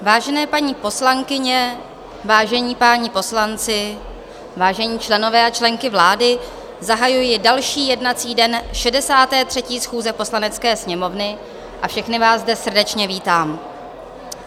Vážené paní poslankyně, vážení páni poslanci, vážení členové a členky vlády, zahajuji další jednací den 63. schůze Poslanecké sněmovny a všechny vás zde srdečně vítám.